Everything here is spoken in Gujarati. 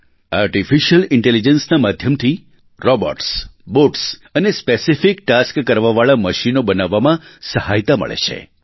આર્ટીફિશિયલ ઇન્ટેલિજન્સના માધ્યમથી રોબોટ્સ બોટ્સ અને સ્પેસિફિક ટાસ્ક કરવાવાળા મશીનો બનાવવામાં સહાયતા મળે છે